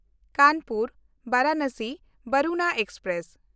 ᱠᱟᱱᱯᱩᱨ–ᱵᱟᱨᱟᱱᱚᱥᱤ ᱵᱟᱨᱩᱱᱟ express